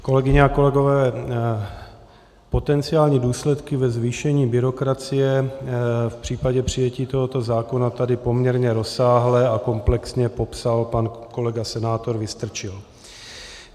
Kolegyně a kolegové, potenciální důsledky ve zvýšení byrokracie v případě přijetí tohoto zákona tady poměrně rozsáhle a komplexně popsal pan kolega senátor Vystrčil.